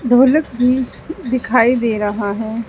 ढोलक भी दिखाई दे रहा है।